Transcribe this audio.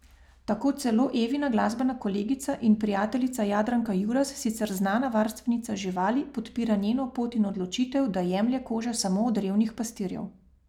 Tako celo Evina glasbena kolegica in prijateljica Jadranka Juras, sicer znana varstvenica živali, podpira njeno pot in odločitev, da jemlje kože samo od revnih pastirjev.